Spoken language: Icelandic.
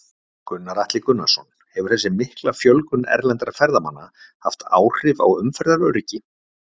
Gunnar Atli Gunnarsson: Hefur þessi mikla fjölgun erlendra ferðamanna haft áhrif á umferðaröryggi?